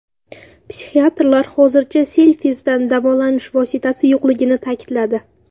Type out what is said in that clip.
Psixiatrlar hozircha selfies’dan davolanish vositasi yo‘qligini ta’kidladi.